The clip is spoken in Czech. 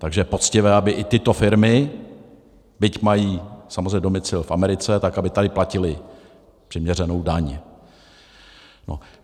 Takže je poctivé, aby i tyto firmy, byť mají samozřejmě domicil v Americe, tak aby tady platily přiměřenou daň.